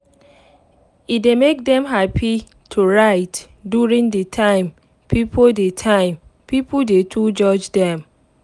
e dey make dem happy to write during de time pipo dey time pipo dey too judge dem